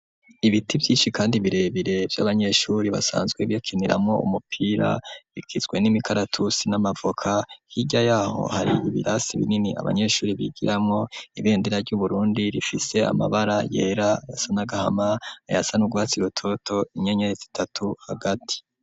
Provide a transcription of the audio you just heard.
Ibiti vyishi kandi birebire vy'abanyeshuri basanzwe bakiniramwo umupira bigizwe n'imikaratusi n'amavoka hirya yaho hari ibirasi binini abanyeshuri bigiramwo, ibendera ry'uburundi rifise amabara yera asa n,agahama , ayasa nugwatsi rutoto, inyenyeri zitatu hagati.